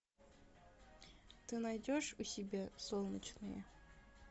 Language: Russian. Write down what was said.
ты найдешь у себя солнечные